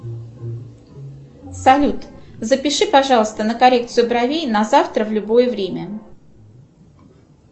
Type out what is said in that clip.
салют запиши пожалуйста на коррекцию бровей на завтра в любое время